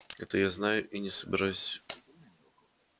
это я знаю и не собираюсь